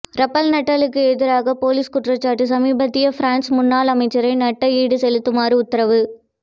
Rafael நடாலுக்கு எதிராக போலிக் குற்றச்சாட்டு சுமத்திய பிரான்ஸ் முன்னாள் அமைச்சரை நட்டஈடு செலுத்துமாறு உத்தரவு